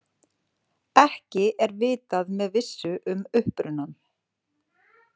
Ekki er vitað með vissu um upprunann.